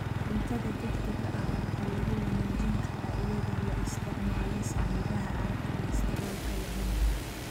Cuntada degdega ah waxaa lagu wanaajin karaa iyadoo la isticmaalo saliidaha aan kolestaroolka lahayn.